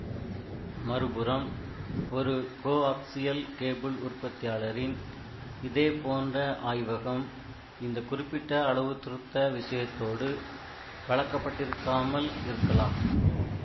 மறுபுறம் ஒரு coaxial cable உற்பத்தியாளரின் இதே போன்ற ஆய்வகம் இந்த குறிப்பிட்ட அளவுத்துருத்த விஷயத்தோடு பழக்கப்பட்டிருக்காமல் இருக்கலாம்